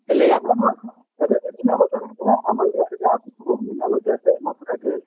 ଏବେ ଯୋଉ ମିନାବଜାର ହେଇଥିଲା ଆମର ଯୋଉ ଏଠିକି ଆସୁଥିଲେ ମିନାବଜାର ରେ ମଥୁରା cake